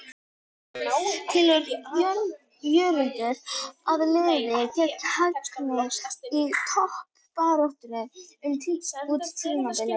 Telur Jörundur að liðið geti hangið í toppbaráttunni út tímabilið?